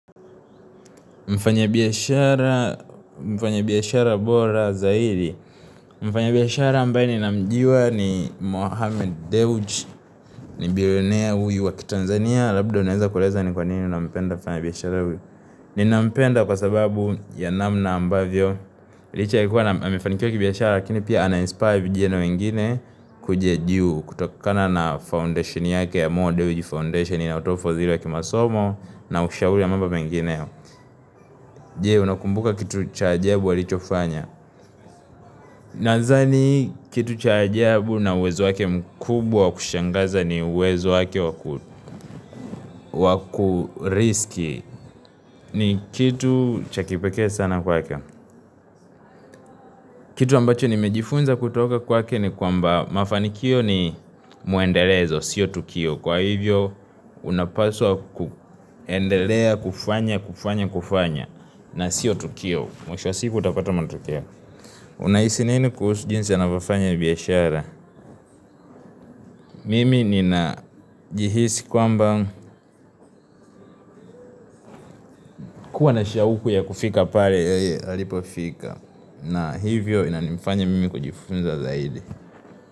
Mfanyabiashara, mfanyabiashara bora zaidi. Mfanyabiashara ambaye ninamjua ni Mohamed Dewji, ni billionaire huyu wa kitanzania, labda unaeza kueleza ni kwa nini unampenda mfanyabiashara huyu. Ninampenda kwa sababu ya namna ambavyo. Licha ya kuwa na amefanikiwa kibiashara, lakini pia anainspire vijana wengine kuja juu, kutokana na foundation yake ya Mohamed Dewji Foundation, inayotoa ufadhili wa kimasomo, na ushauri wa mambo mengineo. Jee unakumbuka kitu cha ajabu alichofanya. Nadhani kitu cha ajabu na uwezo wake mkubwa wa kushangaza ni uwezo wake wa kuriski. Ni kitu cha kipekea sana kwake. Kitu ambacho nimejifunza kutoka kwake ni kwamba mafanikio ni muendelezo, sio tukio kwa hivyo unapaswa kuendelea, kufanya, kufanya, kufanya na sio tukio, mwisho wa siku utapata matokeo. Unahisi nini kuhusu jinsi anapvyofanya biashara? Mimi ninajihisi kwamba kuwa na shauku ya kufika pale yeye alipofika. Na hivyo inanifanya mimi kujifunza zaidi.